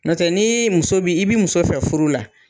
N'o tɛ ni muso bi, i bi muso fɛ furu la